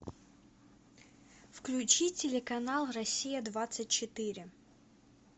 включи телеканал россия двадцать четыре